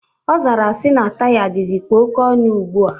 Ọ zara na taya dịzikwa oke ọnụ ugbua.